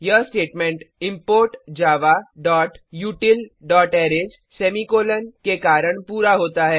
यह statement import javautilअरेज semicolon के कारण पूरा होता है